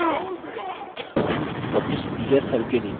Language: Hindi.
publishyear के नीचे cell पर click करते हैं